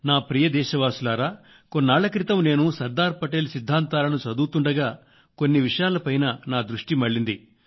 నా ప్రియమైన దేశవాసుల్లారా కొన్నాళ్ళ క్రితం నేను సర్దార్ పటేల్ సిద్ధాంతాలను చదువుతుండగా కొన్ని విషయాలపై నా దృష్టి మళ్ళింది